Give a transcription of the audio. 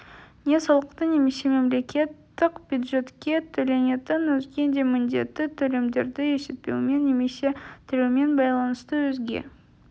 не салықты немесе мемлекеттік бюджетке төленетін өзге де міндетті төлемдерді есептеумен немесе төлеумен байланысты өзге